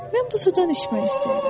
Mən bu sudan içmək istəyirəm.